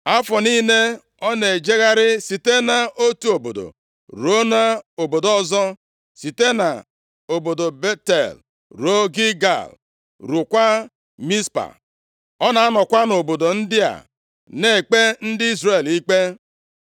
Afọ niile, ọ na-ejegharị site nʼotu obodo ruo nʼobodo ọzọ, site nʼobodo Betel ruo Gilgal, ruokwa Mizpa. + 7:16 Betel, Gilgal na Mizpa bụ obodo atọ ndị so nʼoke ala Benjamin ketara. Ọ bụkwa na mpaghara ala ndị a, ka ụlọnsọ Chineke dị. \+xt Jos 18:11-28; Jos 4:19\+xt* Ọ na-anọkwa nʼobodo ndị a na-ekpe ndị Izrel ikpe.